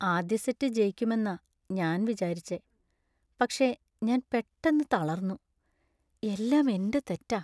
ആദ്യ സെറ്റ് ജയിക്കുമെന്നാ ഞാൻ വിചാരിച്ചെ , പക്ഷേ ഞാൻ പെട്ടന്ന് തളർന്നു. എല്ലാം എന്‍റെ തെറ്റാ .